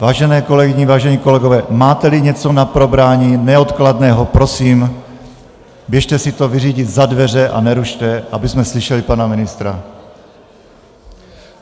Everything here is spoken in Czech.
Vážené kolegyně, vážení kolegové, máte-li něco na probrání neodkladného, prosím, běžte si to vyřídit za dveře a nerušte, abychom slyšeli pana ministra.